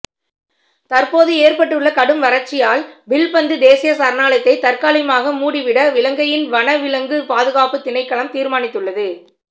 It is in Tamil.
தற்போது ஏற்பட்டுள்ள கடும் வறட்சியால் வில்பத்து தேசிய சரணாலயத்தை தற்காலிகமாக மூடிவிட இலங்கையின் வன விலங்குகள் பாதுகாப்பு திணைக்களம் தீர்மானித்துள்ளது